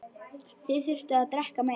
Þið þurfið að drekka meira.